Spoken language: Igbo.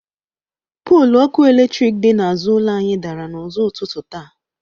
Poolu ọkụ eletrik dị n’azụ ụlọ anyị dara n’ụzọ ụtutụ taa.